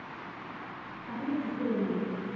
তাহলে কি করে আমি লড়াই করবো